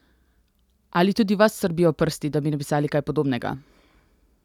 Ali tudi vas srbijo prsti, da bi napisali kaj podobnega?